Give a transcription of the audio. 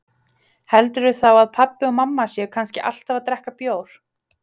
Heldurðu þá að pabbi og mamma séu kannski alltaf að drekka bjór?